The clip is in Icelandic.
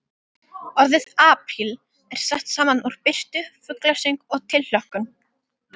Orðið apríl er sett saman úr birtu, fuglasöng og tilhlökkun.